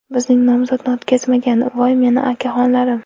Bizning nomzodni o‘tkazmagan, voy meni akaxonlarim!